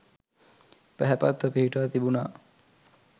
පැහැපත්ව පිහිටා තිබුණා.